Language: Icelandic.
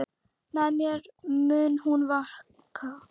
Með mér mun hún vaka.